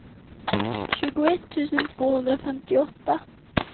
tjugoett tusen tvåhundrafemtioåtta